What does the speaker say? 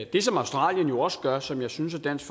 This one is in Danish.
det som australien også gør som jeg synes at dansk